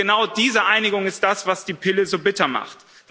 Genau diese Einigung ist das, was die Pille so bitter macht.